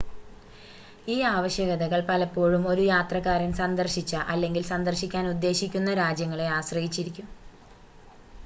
ഈ ആവശ്യകതകൾ പലപ്പോഴും ഒരു യാത്രക്കാരൻ സന്ദർശിച്ച അല്ലെങ്കിൽ സന്ദർശിക്കാൻ ഉദ്ദേശിക്കുന്ന രാജ്യങ്ങളെ ആശ്രയിച്ചിരിക്കും